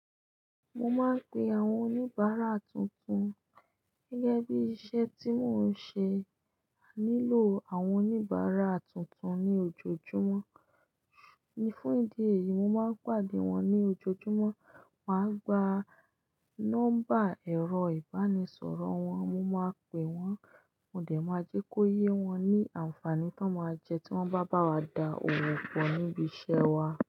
Mo máa ń pe àwọn oníbàárà tuntun. Gẹ́gẹ́ bí iṣẹ́ tí mò ń ṣe, ànílò àwọn oníbàárà tuntun ní ojoojúmọ́. Ní fún ìdí èyí, mo máa ń pàde wọn ní ojoojúmọ́, mà á gba nọ́mbà ẹ̀rọ ìbánisọ̀rọ̀ wọn, mo máa pè wọ́n, mo dẹ̀ máa jẹ́ kó yé wọn ní ànfàní tó máa jẹ tí wọ́n bá bá wa da òwò pọ̀ níbi iṣẹ́ wa.